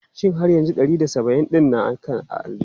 Shin har yanzu ɗari da saba'in ɗin naka a aljihunka?